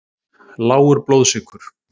Lágur blóðsykur.